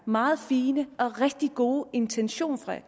meget fine og rigtig gode intention